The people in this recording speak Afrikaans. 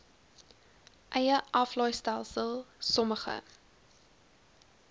eie aflaaistelsel sommige